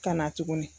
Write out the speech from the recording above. Ka na tuguni